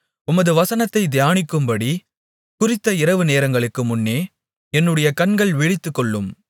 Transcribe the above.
உமது வசனத்தைத் தியானிக்கும்படி குறித்த இரவு நேரங்களுக்கு முன்னே என்னுடைய கண்கள் விழித்துக்கொள்ளும்